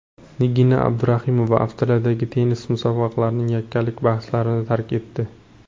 Nigina Abduraimova Avstraliyadagi tennis musobaqasining yakkalik bahslarini tark etdi.